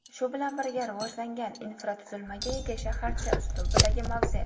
Shu bilan birga rivojlangan infratuzilmaga ega shaharcha uslubidagi mavze.